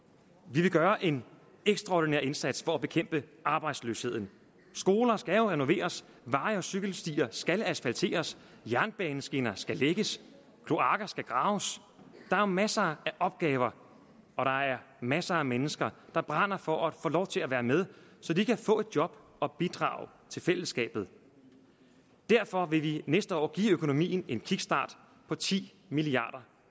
vi vil gøre en ekstraordinær indsats for at bekæmpe arbejdsløsheden skoler skal jo renoveres veje og cykelstier skal asfalteres jernbaneskinner skal lægges kloakker skal graves der er masser af opgaver og der er masser af mennesker der brænder for at få lov til at være med så de kan få et job og bidrage til fællesskabet derfor vil vi næste år give økonomien en kickstart på ti milliard